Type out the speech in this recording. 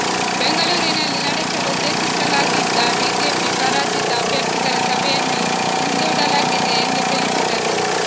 ಬೆಂಗಳೂರಿನಲ್ಲಿ ನಡೆಸಲು ಉದ್ದೇಶಿಸಲಾಗಿದ್ದ ಬಿಜೆಪಿ ಪರಾಜಿತ ಅಭ್ಯರ್ಥಿಗಳ ಸಭೆಯನ್ನೂ ಮುಂದೂಡಲಾಗಿದೆ ಎಂದು ತಿಳಿಸಿದರು